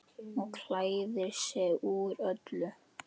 Og klæðir sig úr öllu!